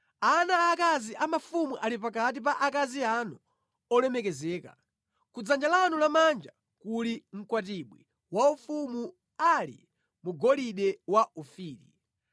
Ana aakazi a mafumu ali pakati pa akazi anu olemekezeka; ku dzanja lanu lamanja kuli mkwatibwi waufumu ali mu golide wa ku Ofiri.